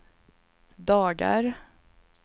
dagar